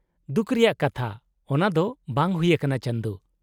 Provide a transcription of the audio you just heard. -ᱫᱩᱠ ᱨᱮᱭᱟᱜ ᱠᱟᱛᱷᱟ, ᱚᱱᱟᱫᱚ ᱵᱟᱝ ᱦᱩᱭ ᱟᱠᱟᱱᱟ, ᱪᱟᱸᱫᱩ ᱾